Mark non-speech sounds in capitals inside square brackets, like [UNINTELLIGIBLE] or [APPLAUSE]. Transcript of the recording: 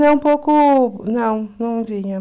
[UNINTELLIGIBLE] um pouco, não, não vinham.